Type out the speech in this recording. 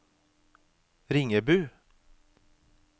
Ringebu